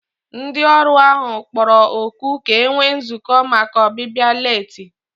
Ndị ọrụ ahụ kpọrọ oku ka e nwee nzukọ maka ọbịbịa leeti